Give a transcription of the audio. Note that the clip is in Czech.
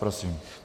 Prosím.